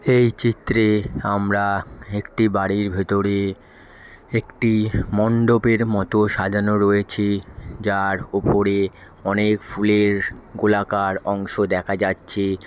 এই চিত্রে আমরা হেকটি বাড়ির ভেতরে একটি মণ্ডপের মতো সাজানো রয়েছে। যার ওপরে অনেক ফুলের গোলাকার অংশ দেখা যাচ্ছে |